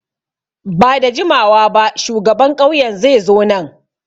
Ba da jimawa ba shugaban ƙauyen zai zo nan.